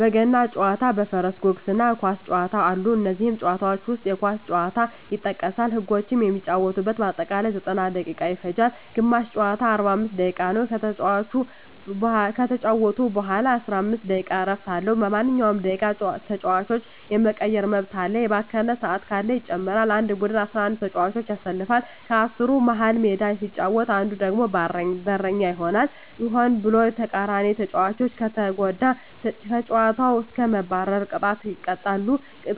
በገና ጨዋታ በፈረስ ጉግስ እና የኳስ ጨዋታ አሉ ከነዚህም ጨዋታዎች ዉስጥ የኳስ ጨዋታ ይጠቀሳል ህጎችም የሚጫወቱበት በአጠቃላይ 90ደቂቃ ይፈጃል ግማሽ ጨዋታ 45 ደቂቃ ነዉ ከተጫወቱ በኋላ የ15 ደቂቃ እረፍት አለዉ በማንኛዉም ደቂቃ ተጫዋች የመቀየር መብት አለ የባከነ ሰአት ካለ ይጨመራል አንድ ቡድን 11ተጫዋቾችን ያሰልፋል አስሩ መሀል ሜዳ ሲጫወት አንዱ ደግሞ በረኛ ይባላል ሆን ብሎ የተቃራኒተጫዋቾችን ከተጎዳ ከጨዋታዉ እስከ መባረር ቅጣት ይቀጣሉ